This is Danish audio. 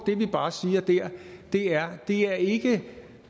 det vi bare siger der er det er ikke